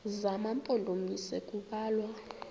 zema mpondomise kubalwa